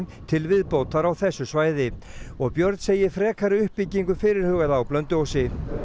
til viðbótar á þessu svæði og Björn segir frekari uppbyggingu fyrirhugaða á Blönduósi